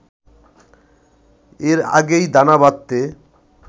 এর আগেই দানা বাঁধতে